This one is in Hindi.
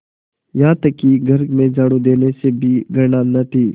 यहाँ तक कि घर में झाड़ू देने से भी घृणा न थी